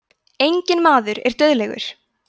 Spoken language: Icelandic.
enginn maður er dauðlegur